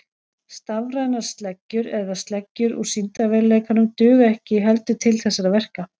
Stafrænar sleggjur eða sleggjur úr sýndarveruleikanum duga ekki heldur til þessara verka.